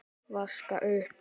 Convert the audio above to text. Vaska upp?